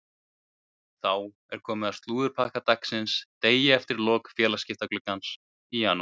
Þá er komið að slúðurpakka dagsins degi eftir lok félagsskiptaglugga janúars.